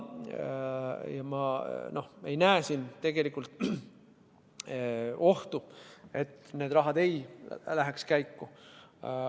Ja ma ei näe siin ohtu, et see raha ei läheks käiku.